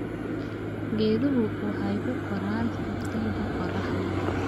Geeduhu waxay ku koraan iftiinka qorraxda.